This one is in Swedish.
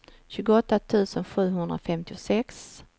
tjugoåtta tusen sjuhundrafemtiosex